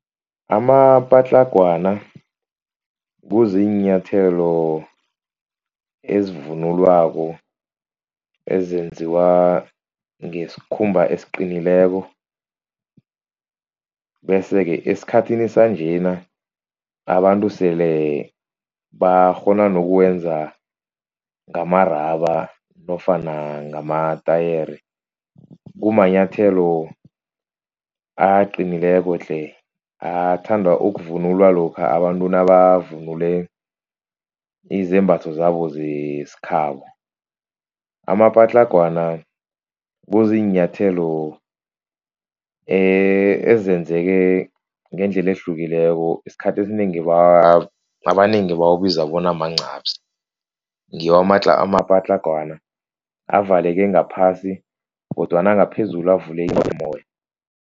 Amapatlagwana kuziinyathelo ezivunulwako ezenziwa ngesikhumba esiqinileko. Bese-ke esikhathini sanjena abantu sele bakghona nokuwenza ngama-rubber nofana ngamatayere. Kumanyathelo aqinileko tle athandwa ukuvunulwa lokha abantu nabavunule izembatho zabo zesikhabo. Amapatlagwana kuziinyathelo ezenzeke ngendlela ehlukileko isikhathi esinengi abanengi bawabiza bona mancaphsi. Ngiwo amapatlagwana avaleke ngaphasi kodwana ngaphezulu avulekile mumoya.